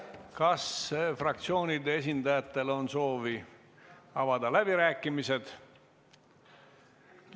Kas fraktsioonide esindajatel on soovi avada läbirääkimised?